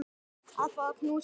Að fá að knúsa þig.